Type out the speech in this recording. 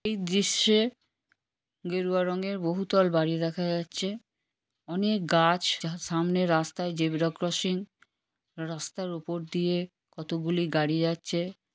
এই দৃশ্যে গেরুয়া রঙের বহুতল বাড়ি দেখা যাচ্ছে অনেক গাছ যার সামনে রাস্তায় জেব্রা ক্রসিং রাস্তার উপর দিয়ে কতগুলি গাড়ি যাচ্ছে।